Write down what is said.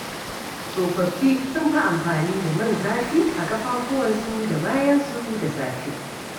Tsofaffi sun fi amfani da man zafi a ƙafafuwansu da bayansu da safe.